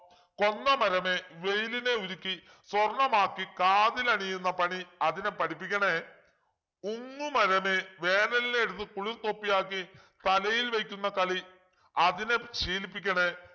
കൊന്നമരമേ വെയിലിനെ ഉരുക്കി സ്വർണമാക്കി കാതിലണിയുന്ന പണി അതിനെ പഠിപ്പിക്കണേ ഉങ്ങുമരമേ വേനലിനെ എടുത്ത് കുളിർത്തൊപ്പിയാക്കി തലയിൽ വയ്ക്കുന്ന കളി അതിനെ ശീലിപ്പിക്കണേ